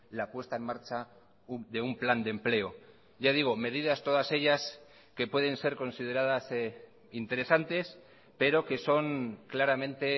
la puesta en marcha de un plan de empleo ya digo medidas todas ellas que pueden ser consideradas interesantes pero que son claramente